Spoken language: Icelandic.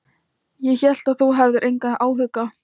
Ég hélt að þú hefðir engan áhuga.